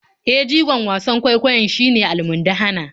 E, jigon wasan kwaikwayon shine almundahana.